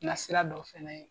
Nasira dɔ fɛ.